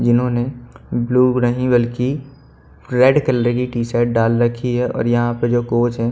जिन्होंने ब्लू नही बल्कि रेड कलर की टी शर्ट डाल रखी हैं और यहाँ पे जो कोच हैं।